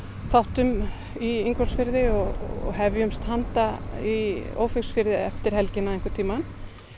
þáttum í Ingólfsfirði og hefjumst handa í Ófeigsfirði eftir helgina einhvern tímann